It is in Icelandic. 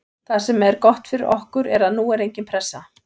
Það sem er gott fyrir okkur er að nú er engin pressa.